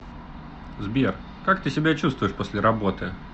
сбер как ты себя чувствуешь после работы